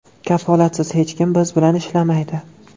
Kafolatsiz hech kim biz bilan ishlamaydi.